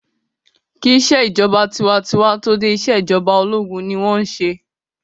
Kí ìṣèjọba tinwatinwa tó dé, ìṣèjọba ológun ni wọ́n n ṣe